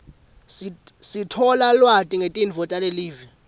sithola ulwati ngetinto talelive